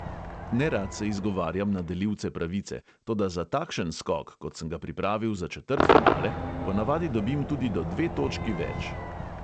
Nerad se izgovarjam na delilce pravice, toda za takšen skok, kot sem ga pripravil za četrtfinale, ponavadi dobim tudi do dve točki več.